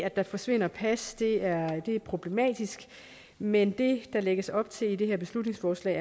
at der forsvinder pas er problematisk men det der lægges op til i det her beslutningsforslag